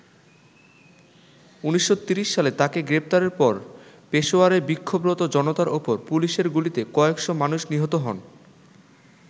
১৯৩০ সালে তাকে গ্রেপ্তারের পর পেশোয়ারে বিক্ষোভরত জনতার ওপর পুলিশের গুলিতে কয়েক'শ মানুষ নিহত হন।